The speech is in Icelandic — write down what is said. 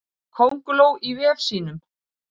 Könguló í vef sínum.